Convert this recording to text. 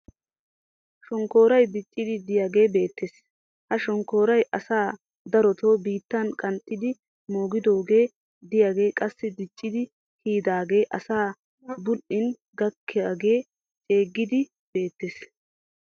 shonkkooray diccidi diyaagee beettees. ha shonkkooraa asay darotoo biittan qanxxidi moogidoogee diyaagee qassi diccidi kiyidaagaa asay bul'in gakkidaagee ceeggidi beettees.